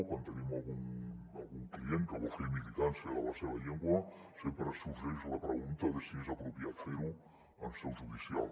quan tenim algun client que vol fer militància de la seva llengua sempre sorgeix la pregunta de si és apropiat ferho en seu judicial